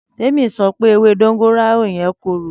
Tẹmi sọ̀pẹ ẹwe dongoyaro yen kọ̀rò gan